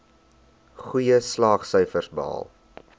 goeie slaagsyfers behaal